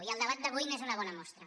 i el debat d’avui n’és una bona mostra